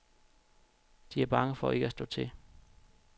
De er bange for ikke at slå til.